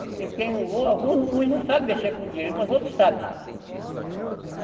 Porque quem alguns não sabem mexer com o direito, mas outros sabem.